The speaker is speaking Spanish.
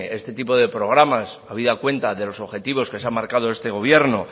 este tipo de programas habida cuenta de los objetivos que se han marcado este gobierno